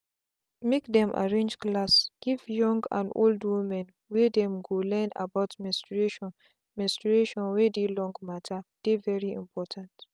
make dem them arrange class give young and old women where dem go learn about menstruation menstruation wey dey long matter dey very important.